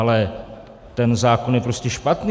Ale ten zákon je prostě špatný.